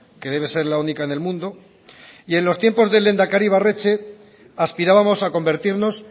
que debe ser la única en el mundo y en los tiempos del lehendakari ibarretxe aspirábamos a convertirnos